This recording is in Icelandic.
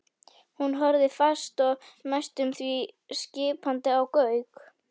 Hún horfði fast og næstum því skipandi á Gauk.